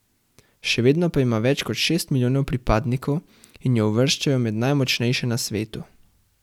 Še vedno pa ima več kot šest milijonov pripadnikov in jo uvrščajo med najmočnejše na svetu.